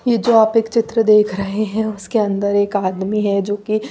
ये जो आप एक चित्र देख रहे है उसके अंदर एक आदमी है जो की--